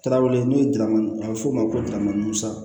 Tarawele n'o ye daramani a be f'o ma ko musa